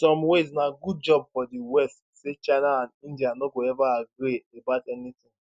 in some ways na good job for di west say china and india no go ever agree about anytin